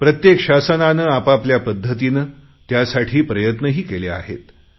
प्रत्येक सरकारने आपापल्या पध्दतीने त्यासाठी प्रयत्नही केले आहेत